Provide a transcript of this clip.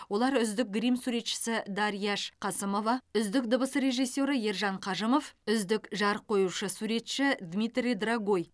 олар үздік грим суретшісі дарьяш қасымова үздік дыбыс режиссері ержан қажымов үздік жарық қоюшы суретшісі дмитрий драгой